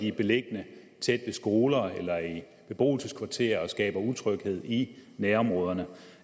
er beliggende tæt ved skoler eller i beboelseskvarterer og skaber utryghed i nærområderne